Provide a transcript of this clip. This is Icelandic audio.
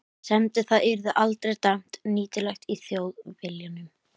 semdi það yrði aldrei dæmt nýtilegt í Þjóðviljanum.